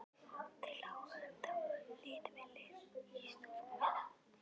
Þau lágu ennþá hlið við hlið yst á rúminu.